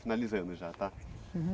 Finalizando já, tá? Uhum